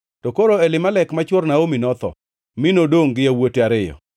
To koro Elimelek ma chwor Naomi notho, mi nodongʼ gi yawuote ariyo.